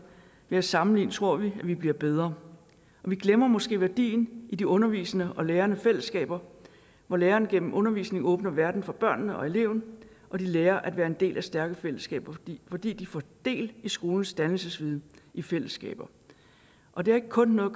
ved at sammenligne tror vi at vi bliver bedre vi glemmer måske værdien af de undervisende og lærende fællesskaber hvor læreren gennem undervisning åbner verden for børnene og eleverne og de lærer at være en del af stærke fællesskaber fordi fordi de får del i skolens dannelsesviden i fællesskaber og det har ikke kun noget